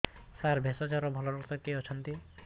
ସାର ଭେଷଜର ଭଲ ଡକ୍ଟର କିଏ ଅଛନ୍ତି